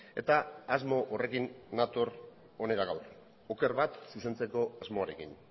eta asmo horrekin nator hona gaur oker bat zuzentzeko asmoarekin